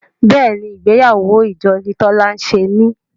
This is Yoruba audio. béèni ìgbéyàwó ìjọ ni Tola ṣe ní.